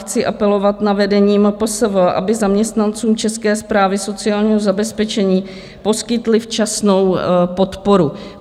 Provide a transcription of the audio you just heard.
Chci apelovat na vedení MPSV, aby zaměstnancům České správy sociálního zabezpečení poskytli včasnou podporu.